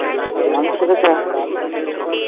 ট্রামে চড়েছ?